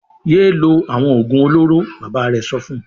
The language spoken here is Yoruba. "Yé lo àwọn òògùn olóró!" Bàbá rẹ̀ sọ fún un.